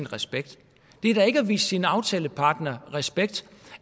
respekt det er da ikke at vise sin aftalepartner respekt